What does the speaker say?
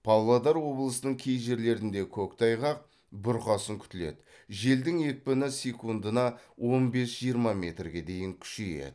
павлодар облысының кей жерлерінде көктайғақ бұрқасын күтіледі желдің екпіні секундына он бес жиырма метрге дейін күшейеді